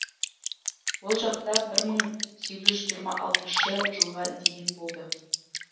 ол жақта бір мың сегіз жүз жиырма алтыншы жылға дейін болды